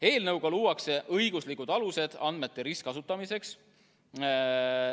Eelnõuga luuakse õiguslikud alused andmete ristkasutamiseks.